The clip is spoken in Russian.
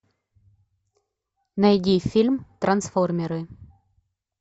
найди фильм трансформеры